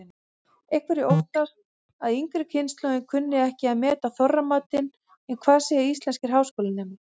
Einhverjir óttast að yngri kynslóðin kunni ekki að meta Þorramatinn en hvað segja íslenskir háskólanemar?